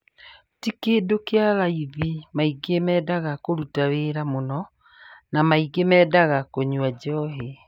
Tĩ kĩndu kĩa raithi, maingĩ mendaga kũruta wĩra mũno na maingĩ mendaga kunywa njohi